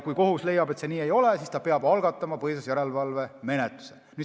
Kui kohus leiab, et see nii ei ole, siis peab ta algatama põhiseaduslikkuse järelevalve menetluse.